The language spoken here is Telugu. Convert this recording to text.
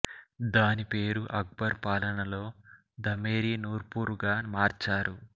దాని పేరు అక్బర్ పాలనలో ధమేరి నూర్పూర్ గా మార్చారు